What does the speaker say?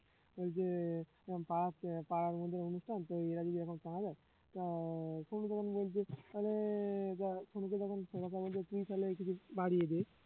বলছে এরকম পাড়া~ পাড়ার মধ্যে অনুষ্ঠান তো এরা যদি এরকম চাঁদা দেয় তা সনু তখন বলছে আরে যা সনুকে যখন সনু আমাদের ছেলে কিছু বাড়িয়ে দে